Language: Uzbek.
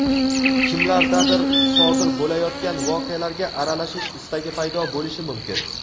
Kimlardadir sodir bo‘layotgan voqealarga aralashish istagi paydo bo‘lishi mumkin.